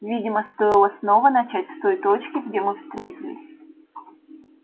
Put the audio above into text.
видимо стоило снова начать с той точки где мы встретились